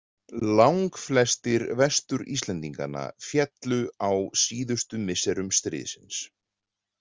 Langflestir Vestur-Íslendinganna féllu á síðustu misserum stríðsins.